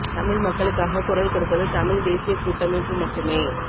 தமிழ் மக்களுக்காக குரல்கொடுப்பது தமிழ் தேசிய கூட்டமைப்பு மட்டுமே